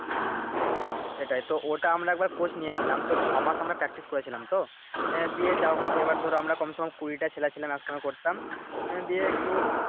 হুম সেটাই ঐটা আমরা একবার কোর্স নিয়েছিলাম তো ছয় মাস আমরা Practice করেছিলাম তো আহ দিয়ে যা হোক এবার ধরো আমরা কমচে কম কুড়িটা ছেলে ছিলাম একসঙ্গে করতাম এ দিয়ে একটু